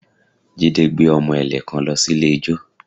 Jide gbé ọmọ ẹ̀lẹ̀ kan lọ sí ilé ijó